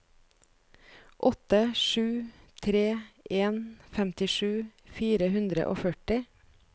åtte sju tre en femtisju fire hundre og førti